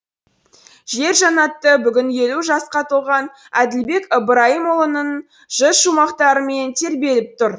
жер жаннаты бүгін елу жасқа толған әділбек ыбырайымұлының жыр шумақтарымен тербеліп тұр